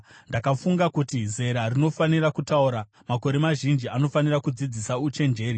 Ndakafunga kuti, ‘Zera rinofanira kutaura; makore mazhinji anofanira kudzidzisa uchenjeri.’